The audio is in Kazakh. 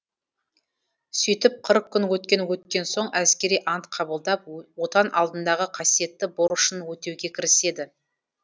сөйтіп қырық күн өткен өткен соң әскери ант қабылдап отан алдындағы қасиетті борышын өтеуге кіріседі